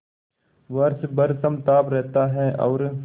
वर्ष भर समताप रहता है और